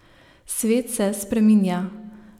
Svet se spreminja.